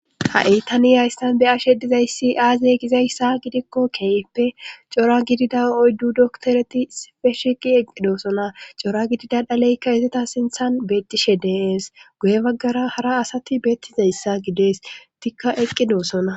Ha'i ta niyaystan be ashe dizayssi aaziye gizayssa gidikko keeeppe cora gidida oyddu doktoreti sife shiqi eqqidosona cora gidida dhaleykka izita sinthan beettishe deees guye baggara hara asati beettizayssa gidees etikka eqqidoosona.